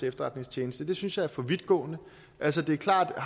efterretningstjeneste synes jeg er for vidtgående altså det er klart at